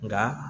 Nka